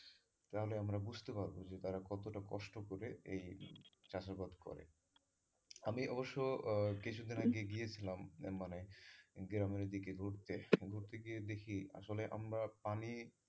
তাহলে আমরা বুঝতে পারবো যে তারা কতোটা কষ্ট করে এই চাষাবাদ করে আমি অবশ্য কিছু দিন আগে গিয়েছিলাম মানে গ্রামের ওইদিকে ঘুরতে তো ঘুরতে গিয়ে দেখি আসলে আমরা পানি,